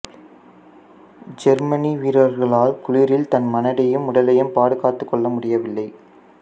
Germany வீரர்களால் குளிரில் தன் மனதையும் உடலையும் பாதுகாத்துக்கொள்ள முடியவில்லை